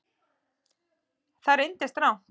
Það reyndist rangt